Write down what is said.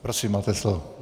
Prosím, máte slovo.